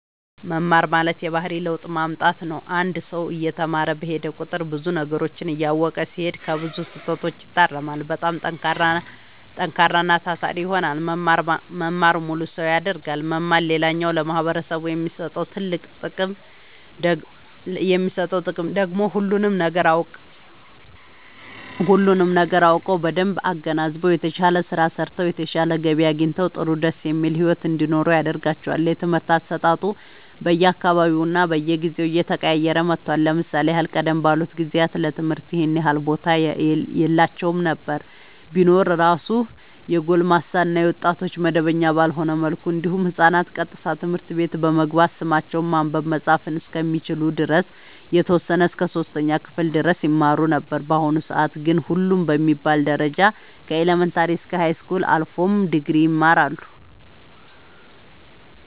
መማር ማለት የባህሪ ለውጥ ማምጣት ነው አንድ ሰው እየተማረ በሄደ ቁጥር ብዙ ነገሮችን እያወቀ ሲሄድ ከብዙ ስህተቶች ይታረማል በጣም ጠንካራና ታታሪ ይሆናል መማር ሙሉ ሰው ያደርጋል መማር ሌላኛው ለማህበረሰቡ የሚሰጠው ጥቅም ደግሞ ሁሉንም ነገር አውቀው በደንብ አገናዝበው የተሻለ ስራ ሰርተው የተሻለ ገቢ አግኝተው ጥሩ ደስ የሚል ሒወት እንዲኖሩ ያደርጋቸዋል። የትምህርት አሰጣጡ በየ አካባቢውና በየጊዜው እየተቀያየረ መጥቷል ለምሳሌ ያህል ቀደም ባሉት ጊዜያት ለትምህርት ይኸን ያህል ቦታ የላቸውም ነበር ቢኖር እራሱ የጎልማሳ እና የወጣቶች መደበኛ ባልሆነ መልኩ እንዲሁም ህፃናት ቀጥታ ትምህርት ቤት በመግባት ስማቸውን ማንበብ መፃፍ እስከሚችሉ ድረስ የተወሰነ እስከ 3ኛ ክፍል ድረስ ይማሩ ነበር በአሁኑ ሰአት ግን ሁሉም በሚባል ደረጃ ከኢለመንታሪ እስከ ሀይስኩል አልፎም ድግሪ ይማራሉ